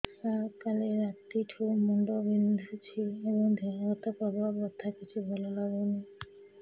ସାର କାଲି ରାତିଠୁ ମୁଣ୍ଡ ବିନ୍ଧୁଛି ଏବଂ ଦେହ ହାତ ପ୍ରବଳ ବଥା କିଛି ଭଲ ଲାଗୁନି